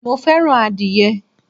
mo fẹràn adìye